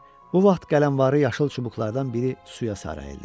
Bu vaxt qələmvari yaşıl çubuqlardan biri suya sarıldı.